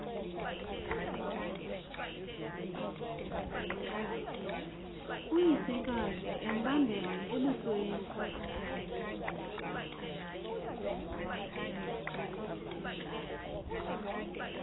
uyisekazi embambele embusweni